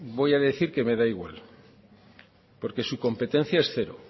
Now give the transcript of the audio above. voy a decir que me da igual porque su competencia es cero